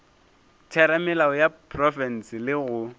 theramelao ya profense le go